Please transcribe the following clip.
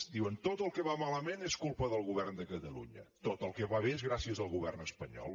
diuen tot el que va malament és culpa del govern de catalunya tot el que va bé és gràcies al govern es panyol